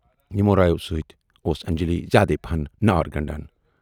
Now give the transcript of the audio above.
یِمو رایو سۭتۍ اوس انجلی زیادٕے پہن نار گنڈان۔